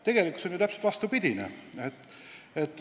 Tegelikkuses on täpselt vastupidi.